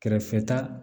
Kɛrɛfɛta